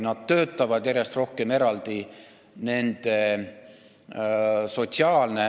Nad töötavad järjest rohkem eraldi.